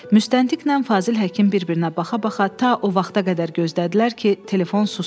Müstəntiqnən Fazil Həkim bir-birinə baxa-baxa ta o vaxta qədər gözlədilər ki, telefon susdu.